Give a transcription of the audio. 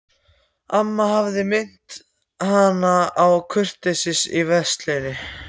Amma hafði áminnt hana um að vera kurteis í veislunni.